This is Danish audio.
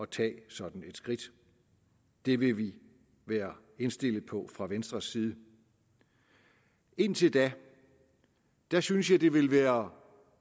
tage sådan et skridt det vil vi være indstillet på fra venstres side indtil da da synes jeg det vil være